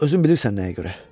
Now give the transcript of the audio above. Özün bilirsən nəyə görə.